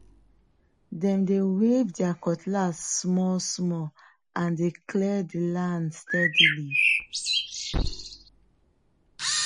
dem they wave their cutlass smallsmall and dey clear the land steadily